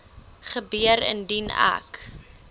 gebeur indien ek